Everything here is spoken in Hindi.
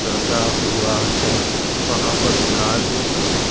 रखा हुआ है वहां पे कार भी खड़ी--